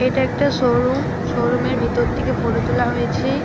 এটা একটা showroom. Showroom এর ভিতর থেকে ফটো তোলা হয়েছে।